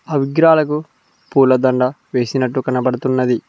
ఆ విగ్రహాలకు పూలదండ వేసినట్టు కనబడుతున్నది.